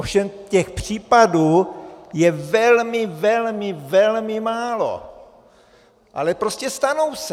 Ovšem těch případů je velmi, velmi, velmi málo, ale prostě stanou se.